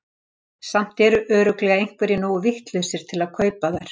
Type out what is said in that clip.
Samt eru örugglega einhverjir nógu vitlausir til að kaupa þær.